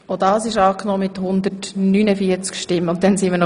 Auch Ziffer vier wurde als Postulat angenommen.